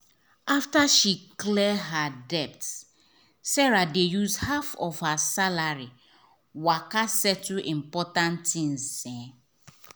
after she clear her debts sarah dey use half of her salary waka settle important tins. um